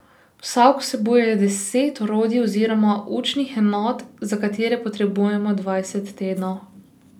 Vsak vsebuje deset orodij oziroma učnih enot, za katere potrebujemo dvanajst tednov.